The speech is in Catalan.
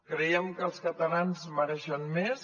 creiem que els catalans mereixen més